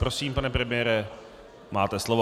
Prosím, pane premiére, máte slovo.